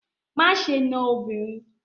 Má ṣe na obìnrin!